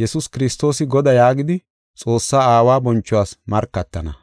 Yesuus Kiristoosa Godaa yaagidi, Xoossaa Aawa bonchuwas markatana.